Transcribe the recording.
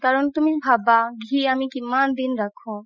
কাৰণ তুমি ভাবা ঘি আমি কিমান দিন ৰাখো